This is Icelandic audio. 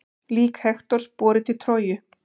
Lík Hektors borið til Tróju.